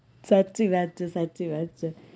સાચી વાત છે સાચી વાત છે